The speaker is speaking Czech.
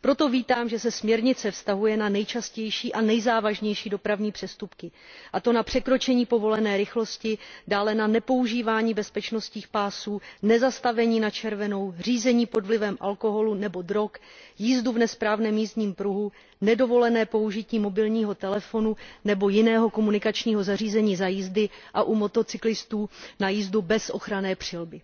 Proto vítám, že se směrnice vztahuje na nejčastější a nejzávažnější dopravní přestupky, a to na překročení povolené rychlosti, dále na nepoužívání bezpečnostních pásů, nezastavení na červenou, řízení pod vlivem alkoholu nebo drog, jízdu v nesprávném jízdním pruhu, nedovolené použití mobilního telefonu nebo jiného komunikačního zařízení za jízdy a u motocyklistů na jízdu bez ochranné přilby.